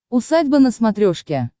усадьба на смотрешке